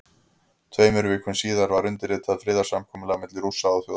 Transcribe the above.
Tveimur vikum síðar var undirritað friðarsamkomulag milli Rússa og Þjóðverja.